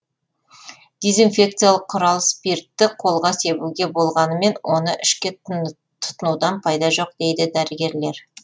дезинфекциялық құрал спиртті қолға себуге болғанымен оны ішке тұтынудан пайда жоқ дейді дәрігерлер